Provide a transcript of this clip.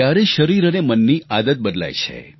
ત્યારે શરીર અને મનની આદત બદલાય છે